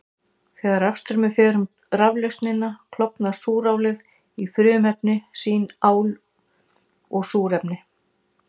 Þegar rafstraumur fer um raflausnina klofnar súrálið í frumefni sín, ál og súrefni.